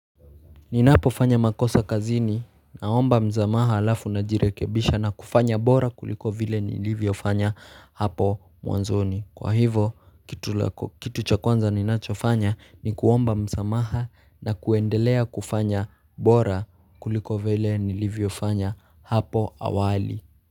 Ninapo fanya makosa kazini naomba msamaha alafu najirekebisha na kufanya bora kuliko vile nilivyo fanya hapo mwanzoni Kwa hivo kitu kitu cha kwanza ninacho fanya ni kuomba msamaha na kuendelea kufanya bora kuliko vile nilivyo fanya hapo awali.